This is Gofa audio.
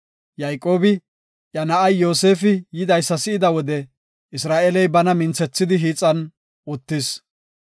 Yayqoobi, iya na7ay Yoosefi yidaysa si7ida wode, Isra7eeley bana minthethidi hiixan uttis.